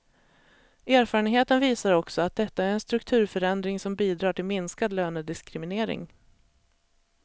Erfarenheten visar också att detta är en strukturförändring som bidrar till minskad lönediskriminering.